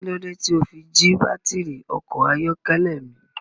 Kí lódé tí o fi jí baátìrì ọkọ̀ ayọ́kẹ́lẹ́ mi?